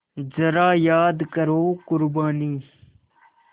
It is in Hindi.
ज़रा याद करो क़ुरबानी